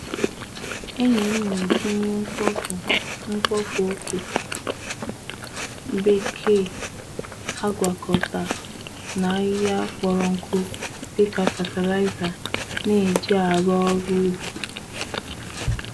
Enyi m na-eji ihe mkpofu mkpofu oke bekee agwakọta na ahịhịa kpọrọ nkụ dị ka fatịlaịza n'eji aru oru ubi.